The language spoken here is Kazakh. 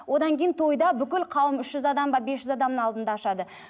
одан кейін тойда бүкіл қауым үш жүз адам ба бес жүз адамның алдында ашады